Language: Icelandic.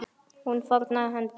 Hún fórnaði höndum.